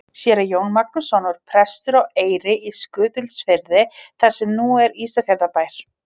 Séra Jón Magnússon var prestur á Eyri í Skutulsfirði þar sem nú er Ísafjarðarbær.